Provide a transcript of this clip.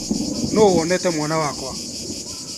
Nũ wonete mwana wakwa.